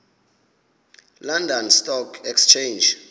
london stock exchange